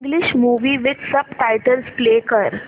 English movie with subtitles play कर